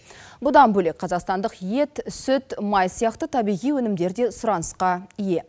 бұдан бөлек қазақстандық ет сүт май сияқты табиғи өнімдері де сұранысқа ие